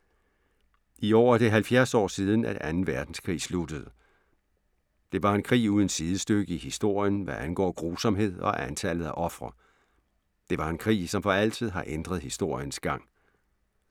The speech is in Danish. I år er det 70 år siden, at 2. Verdenskrig sluttede. Det var en krig uden sidestykke i historien, hvad angår grusomhed og antallet af ofre. Det var en krig, som for altid har ændret historiens gang.